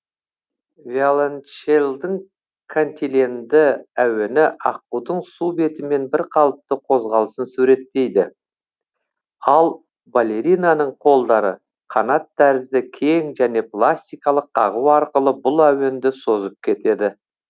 виолончельдің кантиленді әуені аққудың су бетімен бірқалыпты қозғалысын суреттейді ал балеринаның қолдары қанат тәрізді кең және пластикалық қағу арқылы бұл әуенді созып кетеді